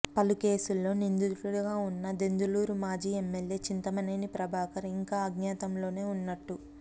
పలు కేసుల్లో నిందితుడిగా ఉన్నా దెందులూరు మాజీ ఎమ్మెల్యే చింతమనేని ప్రభాకర్ ఇంకా అజ్ఞాతంలోనే ఉన్నట్టు